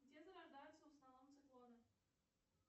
где зарождаются в основном циклоны